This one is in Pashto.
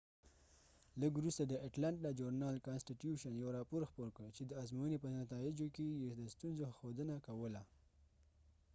لږ وروسته د اټلانټا ژورنال journal کانسټیټیوشن یو راپور خپور کړ چې د ازموينی په نتایجو کې یې د ستونزو ښودنه کوله